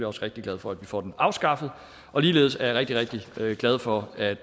også rigtig glad for at vi får den afskaffet ligeledes er jeg rigtig rigtig glad for at